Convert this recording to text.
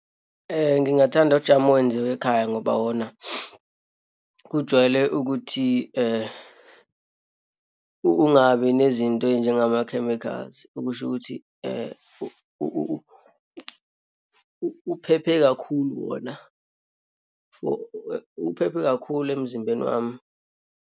Ngingathanda ujamu owenziwe ekhaya ngoba wona kujwayele ukuthi ungabi nezinto eyinjengama-chemicals, okusho ukuthi uphephe kakhulu wona for, uphephe kakhulu emzimbeni wami.